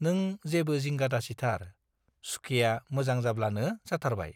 नों जेबो जिंगा दासिथार, सुखेया मोजां जाब्लानो जाथारबाय।